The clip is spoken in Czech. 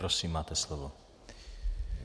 Prosím, máte slovo.